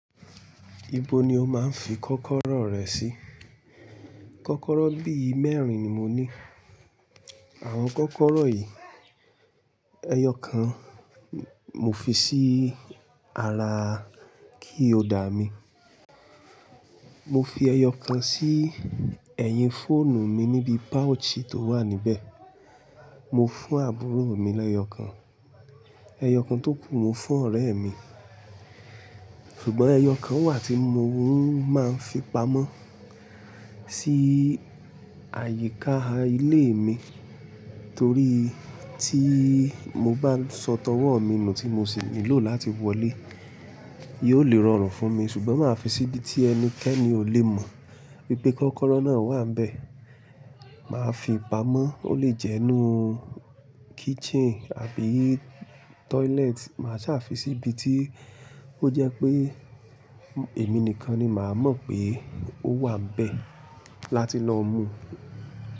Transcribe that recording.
Ibo ni o máa ń fi kọ́kọ́rọ́ rẹ sí? Kọ́kọ́rọ́ bíi mẹ́rin ni mo ní. Àwọn kọ́kọ́rọ́ yìí, ẹyọ kan mo fi sí ara kíi hódà mí. Mo fi ẹyọ kan sí ẹ̀yìn fóònù mi níbi páojì tó wà níbẹ̀. Mo fún àbúrò mi l'ẹyọ kan. Ẹyọ kan tó kù mo fún ọ̀rẹ́ mi. Ṣùgbọ́n ẹyọ kan wà tí mo ń máa ń fi pamọ́ sí àyíká ilé mi torí tí mo bá sọ tọwọ́ mi nù tí mo sì nílò láti wọlé, yóò lè rọrùn fún mi ṣùgbọ́n màá fi sí ibi tí ẹnikẹ́ni ò le mọ̀ pé kọ́kọ́rọ́ náà wà níbẹ̀. Màá fi pamọ́, ó lè jẹ́ inú kitchen àbí toilet. Màá sá fi sí ibi tí ó jẹ́ pé èmi nìkan ni màá mọ̀ pé ó wà níbẹ̀ láti lọ mú.